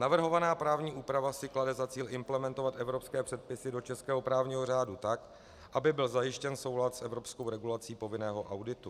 Navrhovaná právní úprava si klade za cíl implementovat evropské předpisy do českého právního řádu tak, aby byl zajištěn soulad s evropskou regulací povinného auditu.